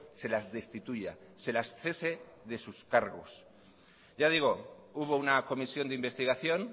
se las destituya se las cese de sus cargos ya digo hubo una comisión de investigación